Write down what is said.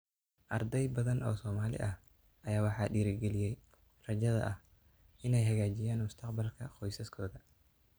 Arday badan oo Soomaali ah ayaa waxaa dhiirigeliyay rajada ah inay hagaajiyaan mustaqbalka qoysaskooda.